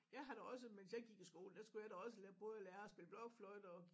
Jeg har da også mens jeg gik i skole der skulle jeg da også lære prøve at lære at spille blokfløjte og